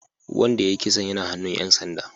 Wanda ya yi kisan yana hannun ‘yan sanda